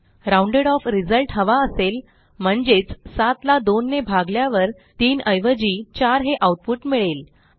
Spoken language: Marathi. राउंडेड ऑफ रिझल्ट हवा असेल म्हणजेच 7 ला 2 ने भागल्यावर 3 ऐवजी 4 हे आऊटपुट मिळेल